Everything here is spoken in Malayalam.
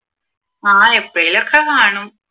ആഹ് എപ്പഴെലുമൊക്കെ കാണും